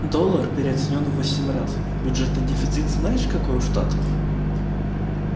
доллар переоценён в восемь раз бюджетный дефицит знаешь какой у штатов